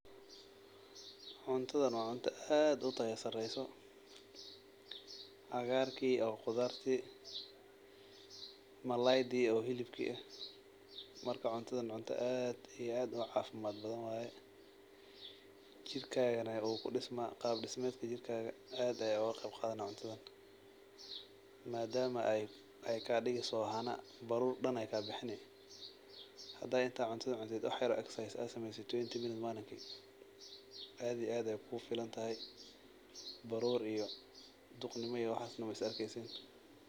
Cuntadhan waa cunto aad utaya sareyso ,cagaarki oo qudhaarti maladi oo hilibkii ehm, marka cuntadhan waa cunto aad iyo aad ucaafimad badhan waye jirkaga neh uu kudismaa, qab dismedka jirkaadha aad aye uguqabqadhane cuntadha madama ey kadigeysa hana baruur dan ey kabixine , hada intaad cuntadan cuntid wax yar oo exercise aa sameysid t wenty minute malinki aad iyo aad ay kugufilantahay baruur iyo duqnimo iyo waxas ineh ismaarkeysin.